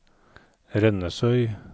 Rennesøy